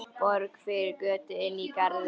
Borg fyrir Kötu inní garði.